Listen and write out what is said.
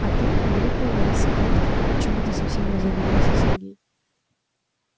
а ты вылитая лариса крофт почему-то совсем разобиделся сергей